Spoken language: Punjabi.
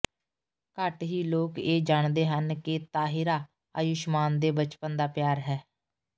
ਘੱਟ ਹੀ ਲੋਕ ਇਹ ਜਾਣਦੇ ਹਨ ਕਿ ਤਾਹਿਰਾ ਆਯੁਸ਼ਮਾਨ ਦੇ ਬਚਪਨ ਦਾ ਪਿਆਰ ਹੈ